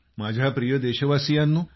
माझ्या प्रिय देशवासीयांनो